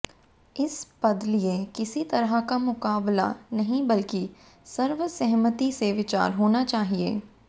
इस पद लिए किसी तरह का मुकाबला नही बल्कि सर्वसहमति से विचार होना चाहिए